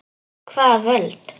Hvaða völd?